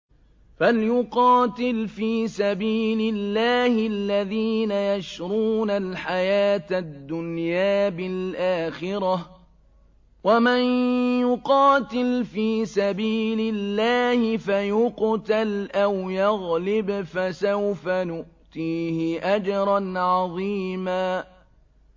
۞ فَلْيُقَاتِلْ فِي سَبِيلِ اللَّهِ الَّذِينَ يَشْرُونَ الْحَيَاةَ الدُّنْيَا بِالْآخِرَةِ ۚ وَمَن يُقَاتِلْ فِي سَبِيلِ اللَّهِ فَيُقْتَلْ أَوْ يَغْلِبْ فَسَوْفَ نُؤْتِيهِ أَجْرًا عَظِيمًا